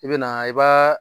I be na i baa